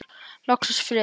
Loksins friður!